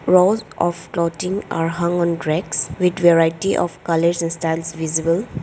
lot of clothing are hung on racks with variety of colours and styles visible.